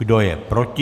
Kdo je proti?